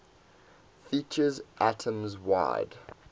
features atoms wide